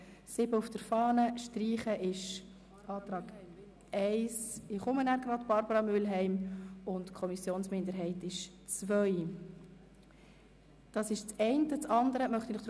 Auf Seite 7 der Fahne ist der Antrag auf Streichung als Antrag 1 bezeichnet und derjenige der Kommissionsminderheit als Antrag 2.